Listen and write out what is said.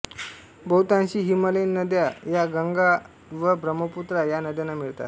बहुतांशी हिमालयीन नद्या या गंगा व ब्रम्हपुत्रा या नद्यांना मिळतात